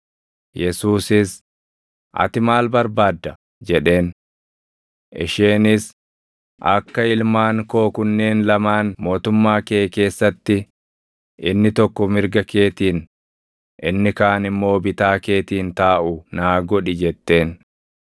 Yesuusis, “Ati maal barbaadda?” jedheen. Isheenis, “Akka ilmaan koo kunneen lamaan mootummaa kee keessatti inni tokko mirga keetiin, inni kaan immoo bitaa keetiin taaʼu naa godhi” jetteen.